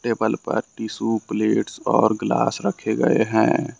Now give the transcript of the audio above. Table पर tissue plates और glass रखे गए है।